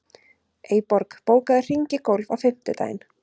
Eyborg, bókaðu hring í golf á fimmtudaginn.